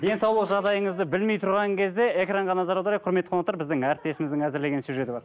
денсаулық жағдайыңызды білмей тұрған кезде экранға назар аударайық құрметті қонақтар біздің әріптесіміздің әзірлеген сюжеті бар